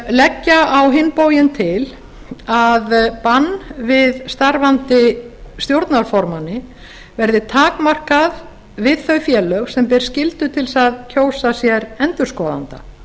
leggja á hinn bóginn til að bann við starfandi stjórnarformanni verði takmarkað við þau félög sem ber skylda til þess að kjósa sér endurskoðanda